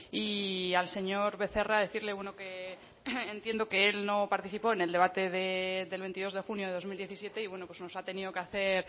y al señor becerra decirle que entiendo que él no participó en el debate del veintidós de junio de dos mil diecisiete y bueno nos ha tenido que hacer